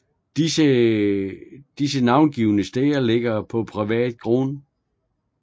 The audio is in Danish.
De navngivne steder ligger på privat grund